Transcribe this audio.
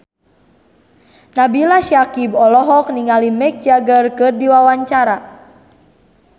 Nabila Syakieb olohok ningali Mick Jagger keur diwawancara